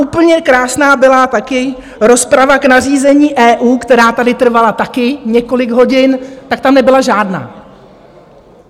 Úplně krásná byla taky rozprava k nařízení EU, která tady trvala taky několik hodin, tak tam nebyla žádná.